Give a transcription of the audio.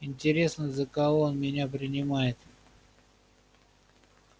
интересно за кого он меня принимает